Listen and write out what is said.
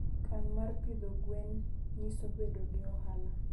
kan mar pidho gwen nyiso bedo gi ohala.